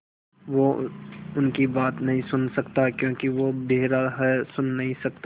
वो उनकी बात नहीं सुन सकता क्योंकि वो बेहरा है सुन नहीं सकता